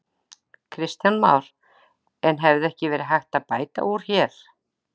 Kristján Már: En hefði ekki verið hægt að bæta úr hér?